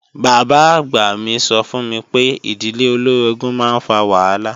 Bàbá-àgbà mi sọ fún mi pé ìdílé olóorogún máa ń fa wàhálà